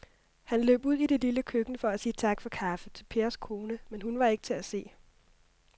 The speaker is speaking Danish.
Han løb ud i det lille køkken for at sige tak for kaffe til Pers kone, men hun var ikke til at se.